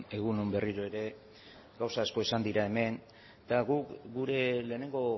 egun on berriro ere gauza asko esan dira hemen eta gu gure lehenengo